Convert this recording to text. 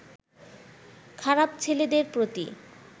খারাপ ছেলেদের প্রতি